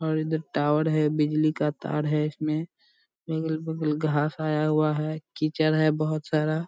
और इधर टावर है बिजली का तार है इसमें अगल-बगल घास आया हुआ है कीचड़ है बहुत सारा।